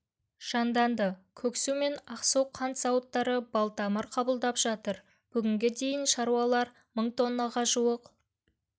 жанданды көксу мен ақсу қант зауыттары балтамыр қабылдап жатыр бүгінге дейін шаруалар мың тоннаға жуық